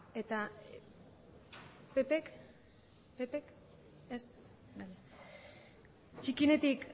eta pp k ez txikienetik